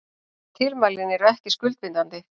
Tilmælin eru ekki skuldbindandi